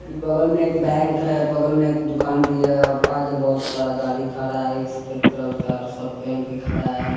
बगल में एक बैंक है बगल में एक दुकान भी है आगे बहोत सारा गाड़ी खड़ा है एक सफेद कलर का शर्ट पेहेन के खड़ा है और --